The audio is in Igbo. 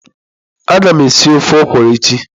Agam esi ofe okwụrụ echi.